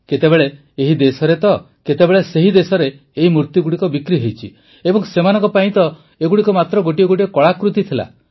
କେତେବେଳେ ଏହି ଦେଶରେ ତ କେତେବେଳେ ସେହି ଦେଶରେ ଏହି ମୂର୍ତ୍ତିଗୁଡ଼ିକ ବିକ୍ରି ହୋଇଛି ଏବଂ ସେମାନଙ୍କ ପାଇଁ ତ ଏଗୁଡ଼ିକ ମାତ୍ର ଗୋଟିଏ ଗୋଟିଏ କଳାକୃତି ଥିଲା